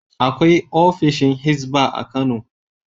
Akwai ofishin Hizba a Kano.